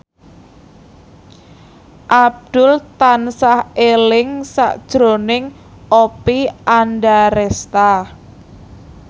Abdul tansah eling sakjroning Oppie Andaresta